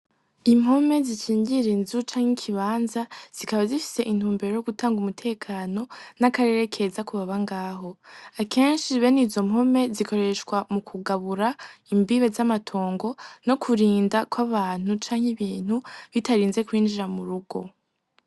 Impome zikingira inzu canke ikibanza zikaba zifise intumbero yo gutanga umutekano n'akarere keza ku baba ngaho. Akenshi bene izo mpome zikoreshwa mukugabura imbibe z'amatongo no kurinda kw'abantu canke ibintu bitarinze kwinjira mu rugo.